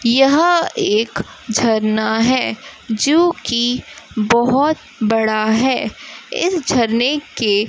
यह एक झरना है जोकि बहोत बड़ा है इस झरने के--